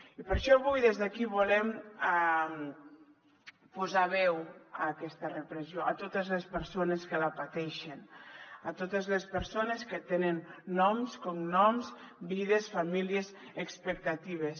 i per això avui des d’aquí volem posar veu a aquesta repressió a totes les persones que la pateixen a totes les persones que tenen noms cognoms vides famílies expectatives